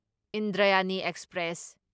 Indrayani express